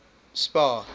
spar